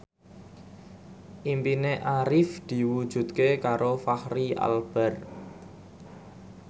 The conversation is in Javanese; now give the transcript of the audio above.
impine Arif diwujudke karo Fachri Albar